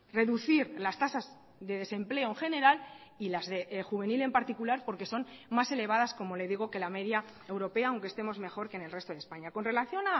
reducir las tasas de desempleo en general y las de juvenil en particular porque son más elevadas como le digo que la media europea aunque estemos mejor que en el resto de españa con relación